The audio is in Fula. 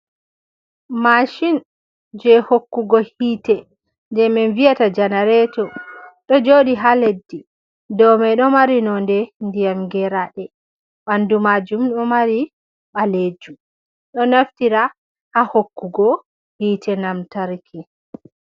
mashin jei hokkugo hite jei min wi'ata janareto, ɗo joɗi ha leddi. dou mai lo mari nonnde ndiyam geraaɗe, ɓandu majum ɗo mari baleejum ɗo naftira ha hokkugo hite namtarki.